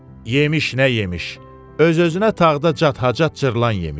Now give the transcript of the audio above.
Yemiş nə yemiş, öz-özünə tağda cacat cırılan yemiş.